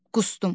Qusdum.